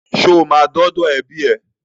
Ṣo máa dọ́dọ̀ ẹbí ẹ?